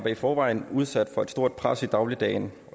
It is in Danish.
i forvejen udsat for et stort pres i dagligdagen